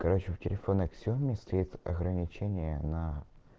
короче у телефона ксиоми стоит ограничение на